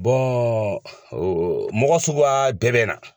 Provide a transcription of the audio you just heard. mɔgɔ bɛɛ bɛ na.